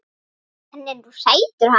Hann er nú sætur hann